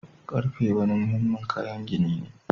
Karfe wani muhimmin kayan gini ne